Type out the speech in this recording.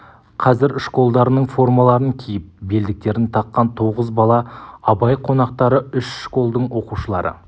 қазір школдарының формаларын киіп белдіктерін таққан тоғыз бала абай қонақтары үш школдың оқушылары